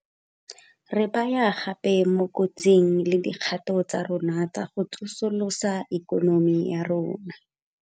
Re baya gape mo kotsing le dikgato tsa rona tsa go tso solosa ikonomi ya rona.